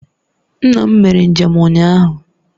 Nna m mere njem ụnyahụ